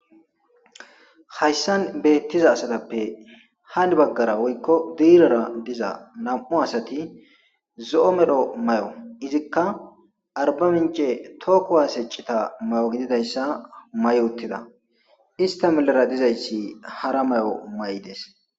Hayssan beetiza asatappe hani bagaara woykko diirara diza nam'u asati zo'o medho mayo izikka arbamince toho kuwasse cita mayo gididaysa mayi uttida ista milera dizayssi hara mayo mayides.